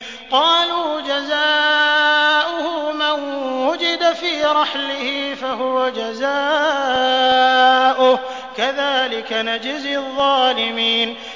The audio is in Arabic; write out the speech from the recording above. قَالُوا جَزَاؤُهُ مَن وُجِدَ فِي رَحْلِهِ فَهُوَ جَزَاؤُهُ ۚ كَذَٰلِكَ نَجْزِي الظَّالِمِينَ